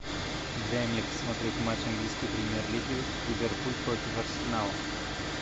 дай мне посмотреть матч английской премьер лиги ливерпуль против арсенала